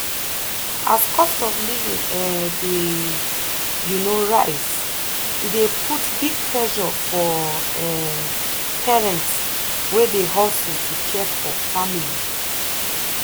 as cost of living um dey um rise e dey put big pressure for um parents wey dey hustle to care for family.